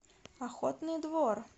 охотный двор